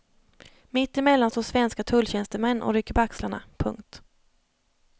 Mitt emellan står svenska tulltjänstemän och rycker på axlarna. punkt